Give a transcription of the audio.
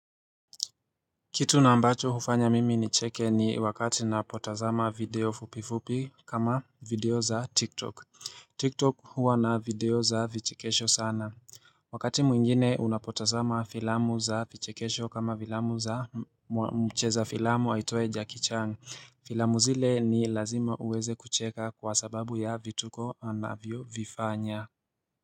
Kitu na ambacho hufanya mimi nicheke ni wakati napotazama video fupi fupi kama video za tiktok Tiktok huwa na video za vichikesho sana Wakati mwingine unapotazama filamu za vichikesho kama filamu za mcheza filamu aitwaye Jackie Chan Filamu zile ni lazima uweze kucheka kwa sababu ya vituko anavyo vifanya.